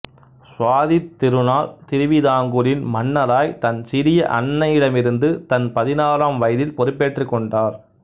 சுவாதித் திருநாள் திருவிதாங்கூரின் மன்னராய் தன சிறிய அன்னையிடமிருந்து தன் பதினாறாம் வயதில் பொறுப்பேற்றுக் கொண்டார்